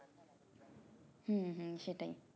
হুম হুম সেটাই